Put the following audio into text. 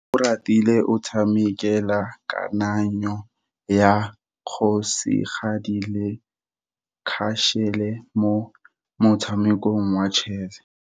Oratile o tshamekile kananyô ya kgosigadi le khasêlê mo motshamekong wa chess.